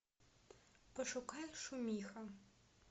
пошукай шумиха